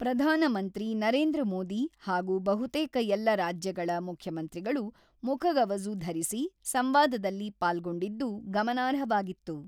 ಧಾನ ಮಂತ್ರಿ ನರೇಂದ್ರ ಮೋದಿ ಹಾಗೂ ಬಹುತೇಕ ಎಲ್ಲ ರಾಜ್ಯಗಳ ಮುಖ್ಯಮಂತ್ರಿಗಳು ಮುಖಗವಸು ಧರಿಸಿ ಸಂವಾದದಲ್ಲಿ ಪಾಲ್ಗೊಂಡಿದ್ದು ಗಮನಾರ್ಹವಾಗಿತ್ತು.